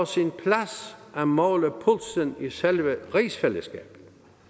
sin plads at måle pulsen i selve rigsfællesskabet